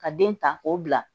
Ka den ta k'o bila